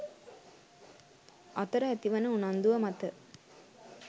අතර ඇතිවන උනන්දුව මත